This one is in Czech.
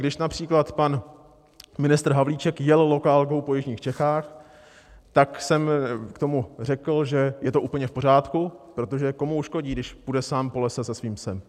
Když například pan ministr Havlíček jel lokálkou po jižních Čechách, tak jsem k tomu řekl, že je to úplně v pořádku, protože komu uškodí, když půjde sám po lese se svým psem?